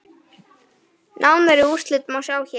Nánari úrslit má sjá hér.